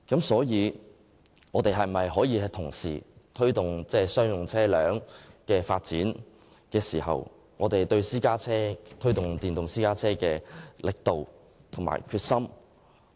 所以，在推動商用車輛的發展時，我們可否加大力度及決心，推動電動私家車的發展呢？